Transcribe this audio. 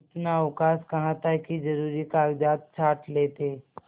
इतना अवकाश कहाँ था कि जरुरी कागजात छॉँट लेते